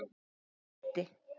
Hún leiddi